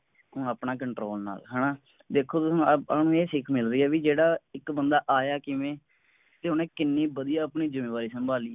ਹੁਣ ਆਪਣਾ ਕੰਟਰੋਲ ਨਾਲ ਹੈ ਨਾ ਦੇਖੋ ਤੁਸੀਂ ਹੁਣ ਆਪਾਂ ਨੂੰ ਇਹ ਸਿੱਖ ਮਿਲ ਰਹੀ ਵੀ ਜਿਹੜਾ ਇੱਕ ਬੰਦਾ ਆਇਆ ਕਿਵੇਂ ਤੇ ਓਹਨੇ ਕਿੰਨੀ ਵਧੀਆ ਆਪਣੀ ਜੁੰਮੇਵਾਰੀ ਸੰਭਾਲੀ